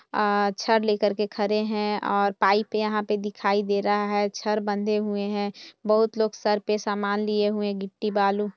आ छड़ लेकर के खड़े है और पाइप यहाँ पे दिखाई दे रहा है छड़ बंधे हुए हैं बहुत लोग सर पर समान लिए हुए गिट्टी बालू --